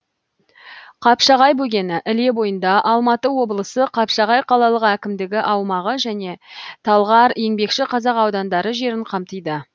қапшағай бөгені іле бойында алматы облысы қапшағай қалалық әкімдігі аумағы және талғар еңбекші қазақ аудандары жерін қамтиды